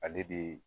Ale de